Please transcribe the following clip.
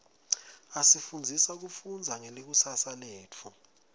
asifundzisa kufundza ngelikusasa letfu